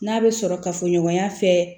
N'a bɛ sɔrɔ kafoɲɔgɔnya fɛ